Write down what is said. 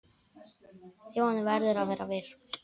Þjóðin verður að vera virk.